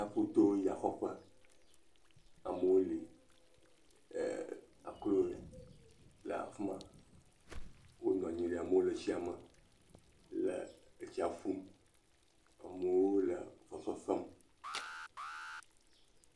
Tsiaƒuto ya xɔƒe, amewo li, eeee.., akro le afi ma wonɔ anyi, amewo le tsia le etsia ƒum, amewo le fefe fem.